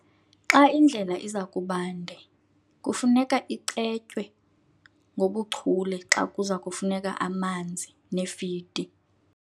Xa indlela iza kuba nde kufuneka icetywe ngobuchule xa kuza kufuneka amanzi nefidi.